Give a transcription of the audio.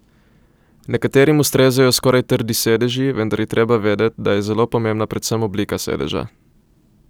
Nekaterim ustrezajo skoraj trdi sedeži, vendar je treba vedeti, da je zelo pomembna predvsem oblika sedeža.